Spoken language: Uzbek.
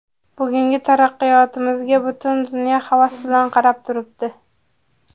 Bugungi taraqqiyotimizga butun dunyo havas bilan qarab turibdi.